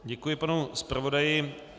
Děkuji panu zpravodaji.